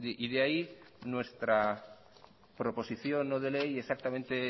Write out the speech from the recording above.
y de ahí nuestra proposición no de ley y exactamente